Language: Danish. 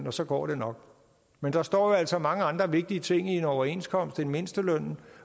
og så går det nok men der står jo altså mange andre vigtige ting i en overenskomst end mindstelønnen